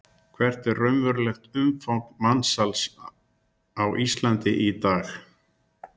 Gunnar Atli Gunnarsson: Hvert er raunverulegt umfang mansals á Íslandi í dag?